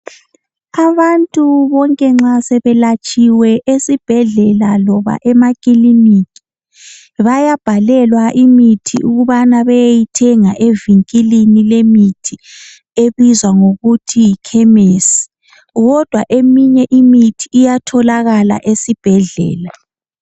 Abantu bonke nxa sebelatshiwe esibhedlela loba emakilinika bayabhalelwa imithi ukubana beyeyithenga evinkilini lemithi ebizwa ngokuthi yikhemisi kodwa eminye imithi iyatholakala esibhedlela.